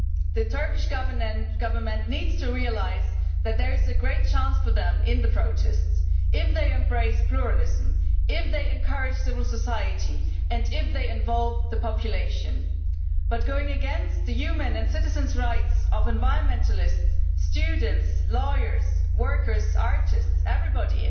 The Turkish Government needs to realise that there is a great chance for them in the protests if they embrace pluralism, if they encourage civil society and if they involve the population But going against the human and citizens' rights of environmentalists, students, lawyers, workers, artists and everybody